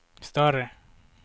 större